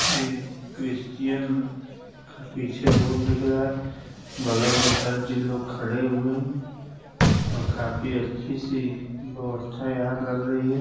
ये क्रिश्चियन का पीछे बोर्ड दिख रहा है। बगल में सर जी लोग खड़े हुए है और काफी अच्छी सी व्यवस्था यहाँ लग रही है।